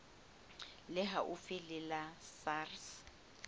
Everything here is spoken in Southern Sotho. le haufi le la sars